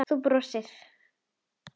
Þú brosir.